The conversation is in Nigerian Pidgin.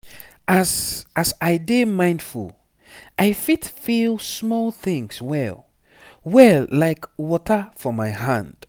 as as i dey mindful i fit feel small things well well like water for my hand.